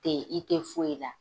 Te i te foyi la.